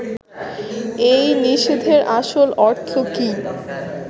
এই নিষেধের আসল অর্থ কী